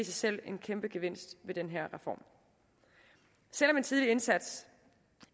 selv en kæmpe gevinst ved den her reform selv om en tidlig indsats